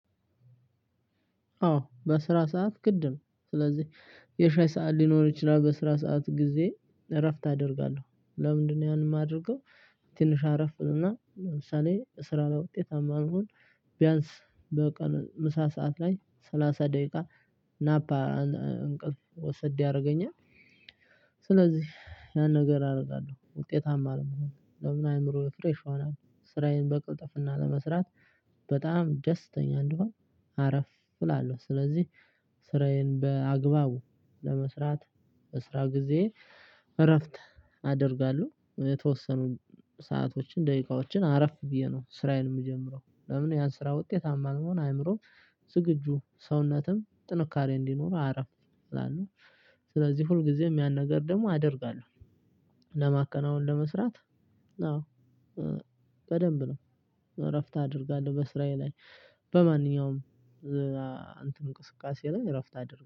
አዎ በስራ ሰዓት ግድ ስለዚህ የሻይ ሰዓት ሊኖር ይችላል በስራ ሰዓት ጊዜ እረፍት አደርጋለሁ ለምንድነው ያንን የማደርገው። ትንሽ አረፍን እልና ለምሳሌ ስራ ላይ ውጤት ብሆን ቢያንስ በቀን ምሳ ሰዓት ላይ ሰላሳ ደቂቃ እንቅልፍ ወሰድ ያረገኛል። ስለዚህ የሆነ ነገር አረጋለሁ ውጤታማ ለመሆን ደሞ አእምሮ ሪፍረሽ ይሆናል። ስራዬን በቅልጥፍና ለመስራት በጣም ደስተኛ እንድሆን አረፍ እላለሁ ስለዚህ ስራዬን በአግባቡ ለመስራት በስራ ጊዜ እረፍት አደርጋለሁ። የተወሰኑ ሰአቶችን ደቂቃዎችን አረፍ ብዬ ነው ስራዬን የምጀምረው። ለምን ያን ስራ ውጤት መሆን አእምሮ ዝግጁ ሰውነትም ጥንካሬ እንዲኖር አረፍ። ስለዚህ ሁል ጊዜም ያን ነገር ደግሞ አደርጋለሁ። ለማከናወን ለመስራት አዎ በደንብ ነው። እረፍት አደርጋለሁ በስራዬ ላይ በማንኛውም እንቅስቃሴ ላይ እረፍት አድርጋለሁ